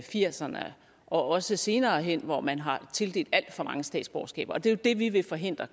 firserne og også senere hen hvor man har tildelt alt for mange statsborgerskaber det er det vi vil forhindre